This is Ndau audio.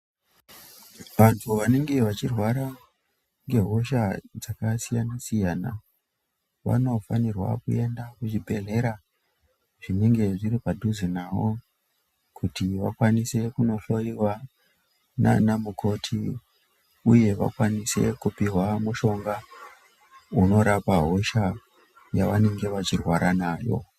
Vantu vanenge vachirwara ngehosha dzakasiyana-siyana vanofanirwa kuenda kuzvibhedhlera zvinenge zviri padhuze navo. Kuti vakwanise kunohloiwa nana mukoti, uye vakwanise kupihwa mushonga unorapa hosha yavanenge vachirwara nayo.